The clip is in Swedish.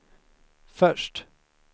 först